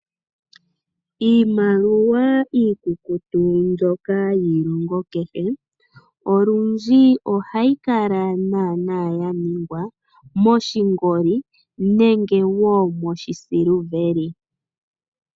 Iimaliwa iikukutu mbyoka yiilongo kehe, olundji ohayi kala naana yaningwa moshingoli, nenge wo moshisiliveli.